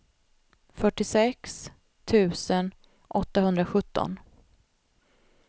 fyrtiosex tusen åttahundrasjutton